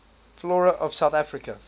flora of south africa